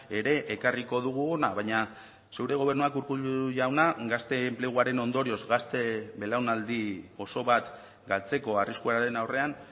ere ekarriko dugu hona baina zure gobernuak urkullu jauna gazte enpleguaren ondorioz gazte belaunaldi oso bat galtzeko arriskuaren aurrean